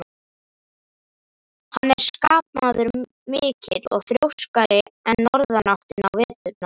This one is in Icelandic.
Hann er skapmaður mikill og þrjóskari en norðanáttin á veturna.